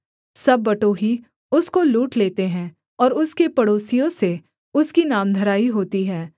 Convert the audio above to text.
सब बटोही उसको लूट लेते हैं और उसके पड़ोसियों से उसकी नामधराई होती है